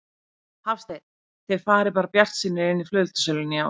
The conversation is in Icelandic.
Hafsteinn: Þið farið bara bjartsýnir inn í flugeldasöluna í ár?